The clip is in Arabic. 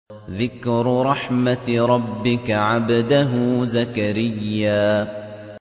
ذِكْرُ رَحْمَتِ رَبِّكَ عَبْدَهُ زَكَرِيَّا